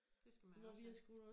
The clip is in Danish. Det skal man også have